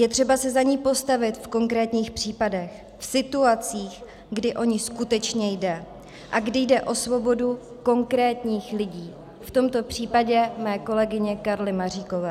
Je třeba se za ni postavit v konkrétních případech, v situacích, kdy o ni skutečně jde a kdy jde o svobodu konkrétních lidí, v tomto případě mé kolegyně Karly Maříkové.